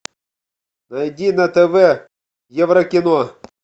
найди на тв евро кино